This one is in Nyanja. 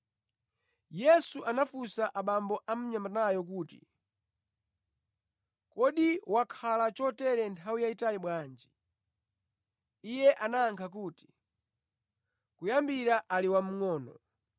Yesu anafunsa abambo a mnyamatayo kuti, “Kodi wakhala chotere nthawi yayitali bwanji?” Iye anayankha kuti, “Kuyambira ali wamngʼono,